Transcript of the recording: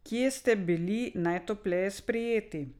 Kje ste bili najtopleje sprejeti?